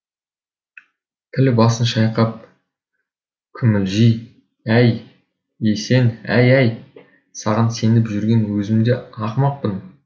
піл басын шайқап күмілжи әййй есен әй әй саған сеніп жүрген өзімде ақымақпын